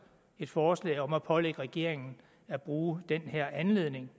et forslag om at pålægge regeringen at bruge den her anledning